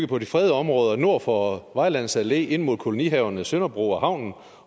på de fredede områder nord for vejlands allé ind mod kolonihaverne sønderbro og havnen